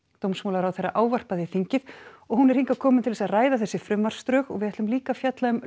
dómsmálaráðherra ávarpaði þingið og hún er hingað komin til að ræða þessi frumvarpsdrög við ætlum líka að fjalla um